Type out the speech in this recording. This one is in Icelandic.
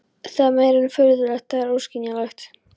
Það er meira en furðulegt, það er óskiljanlegt.